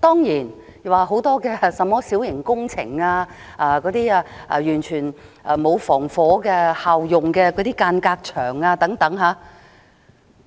當然，有很多小型工程的問題，例如完全沒有設置具防火效用的間隔牆，